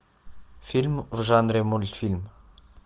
фильм в жанре мультфильм